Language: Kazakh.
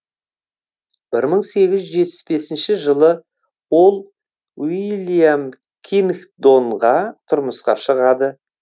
бір мың сегіз жүз жетпіс бесінші жылы ол уильям кингдонға тұрмысқа шығады